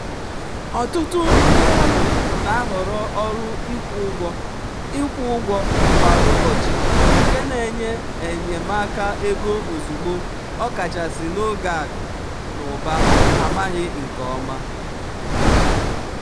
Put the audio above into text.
ọtụtụ ndị ọrụ na-ahọrọ ọrụ ịkwụ ụgwọ ịkwụ ụgwọ kwa ụbọchị nke na-enye enyemaka ego ozugbo ọkachasị n'oge akụ n'ụba amaghị nke ọma.